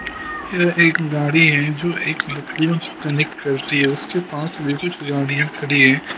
इधर एक गाड़ी है जो से कनेक्ट करती है उसके पास भी कुछ गाड़ियां खड़ी है।